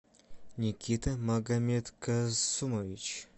никита магомедкасумович